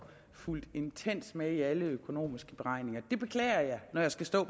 fulgt intenst med i alle økonomiske beregninger det beklager jeg når jeg skal stå